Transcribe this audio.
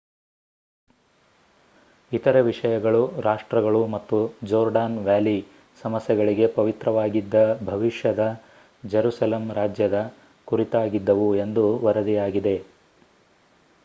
ಇತರೆ ವಿಷಯಗಳು ರಾಷ್ಟ್ರಗಳು ಮತ್ತು ಜೋರ್ಡಾನ್ ವ್ಯಾಲಿ ಸಮಸ್ಯೆಗಳಿಗೆ ಪವಿತ್ರವಾಗಿದ್ದ ಭವಿಷ್ಯದ ಜೆರುಸೆಲಮ್ ರಾಜ್ಯದ ಕುರಿತಾಗಿದ್ದವು ಎಂದು ವರದಿಯಾಗಿದೆ